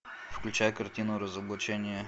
включай картину разоблачение